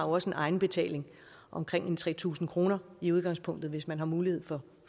også en egenbetaling omkring tre tusind kroner i udgangspunktet hvis man har mulighed for